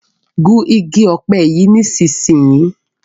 Gún ìgi òpe yí nísìsiyìí!